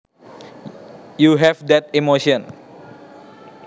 you have that emotion